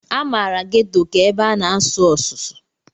A maara Ghetto ka ebe a na-asụ ọsụsụ.